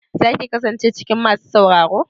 Za ki kasance cikin masu sauraro?